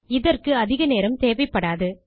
இதற்கு அதிக நேரம் தேவைப்படாது